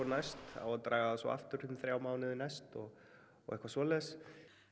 næst á að draga það svo aftur í þrjá mánuði næst og og eitthvað svoleiðis